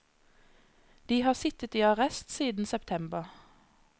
De har sittet i arrest siden september.